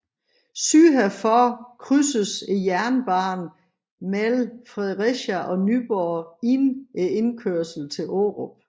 Syd herfor krydses jernbanen mellem Fredericia og Nyborg inden indkørslen til Aarup